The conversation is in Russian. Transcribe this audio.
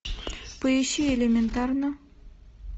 поищи элементарно